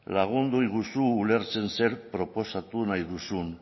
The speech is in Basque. lagunduiguzu ulertzen zer proposatu nahi duzun